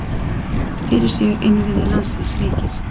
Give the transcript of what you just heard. Fyrir séu innviðir landsins veikir.